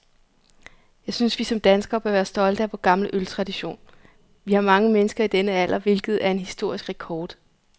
Jeg synes, vi som danskere bør være stolte af vor gamle øltradition. Vi har mange mennesker i denne alder, hvilket er en historisk rekord.